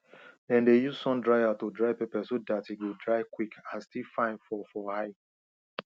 dem dey use sun dryer to dry pepper so dat e go dry quick and still fine for for eye